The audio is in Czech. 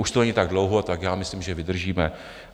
Už to není tak dlouho, tak já myslím, že vydržíme.